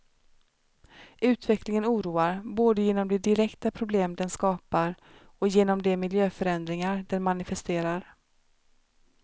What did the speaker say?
Utvecklingen oroar, både genom de direkta problem den skapar och genom de miljöförändringar den manifesterar.